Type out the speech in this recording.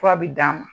Fura bi d'a ma